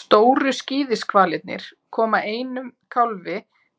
stóru skíðishvalirnir koma einum kálfi